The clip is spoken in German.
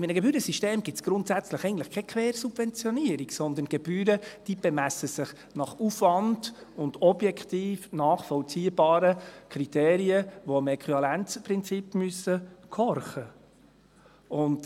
In einem Gebührensystem gibt es grundsätzlich eigentlich keine Quersubventionierung, sondern Gebühren, die sich nach Aufwand und objektiv nachvollziehbaren Kriterien bemessen, die dem Äquivalenzprinzip gehorchen müssen.